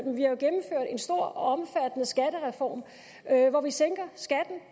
en stor og omfattende skattereform hvor vi sænker skatten